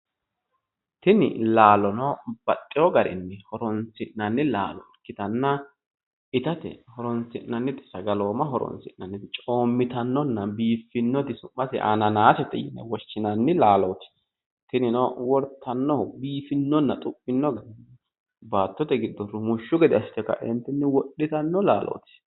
Tini laalono baxxewo garinni horoonsi'nanni laalo ikkitanna itatenna sagaloomaho horoonsi'nannite coommitannonna biiffanno su'maseno ananaasete yine woshinanni laalooti tinino wortannohu baattote giddo biifanno gede assite wortanno laalooti